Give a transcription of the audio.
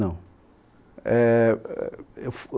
Não. Éh eu f